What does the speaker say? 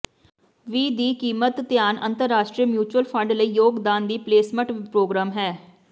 ਵੀ ਦੀ ਕੀਮਤ ਧਿਆਨ ਅੰਤਰਰਾਸ਼ਟਰੀ ਿਮਊਚਲ ਫੰਡ ਲਈ ਯੋਗਦਾਨ ਦੀ ਪਲੇਸਮਟ ਪ੍ਰੋਗਰਾਮ ਹੈ